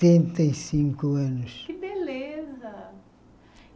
e cinco anos Que beleza!